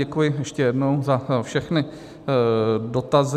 Děkuji ještě jednou za všechny dotazy.